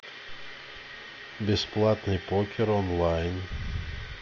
бесплатный покер онлайн